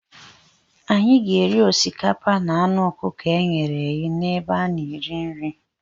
Anyị ga-eri osikapa na anụ ọkụkọ e ghere eghe n'ebe a na-ere nri.